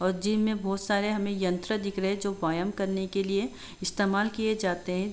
और जिम में बहोत सारे हमें यंत्र दिख दे रहे हैं जो वयं करने के लिए इस्तेमाल किए जाते हैं।